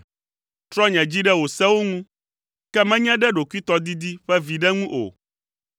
Trɔ nye dzi ɖe wò sewo ŋu, ke menye ɖe ɖokuitɔdidi ƒe viɖe ŋu o.